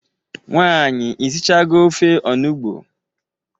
Nwaanyị, ishichago ofe onugbo?